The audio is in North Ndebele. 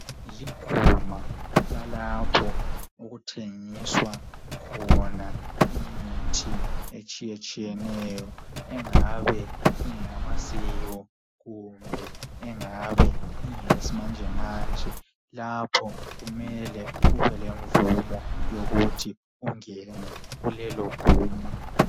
Liguma lalapho okuthengiwa khona imithi etshiyetshiyeneyo engabe ingeyamasiko kumbe engabe ingeyesimanje manje. Lapho kumele ube lemvumo yokuthi ungene kulelo guma.